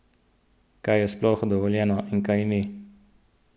Kaj je sploh dovoljeno in kaj ni?